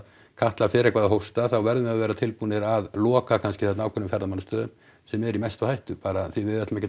Katla fer eitthvað að hósta þá verðum við að vera tilbúnir að loka kannski þarna ákveðnum ferðamannastöðum sem eru í mestu hættu bara því að við ætlum ekki